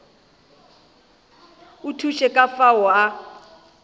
a thuše ka fao a